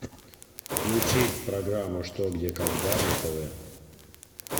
включить программу что где когда на тв